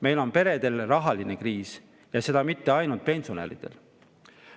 Meie peredel on rahaline kriis – ja mitte ainult pensionäridel.